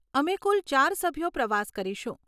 અમે કુલ ચાર સભ્યો પ્રવાસ કરીશું.